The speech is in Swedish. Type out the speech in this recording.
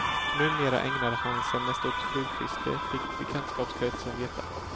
Numera ägnade han sig mest åt flugfiske fick bekantskapskretsen veta.